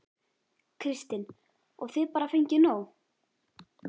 Kristinn: Og þið bara fengið nóg?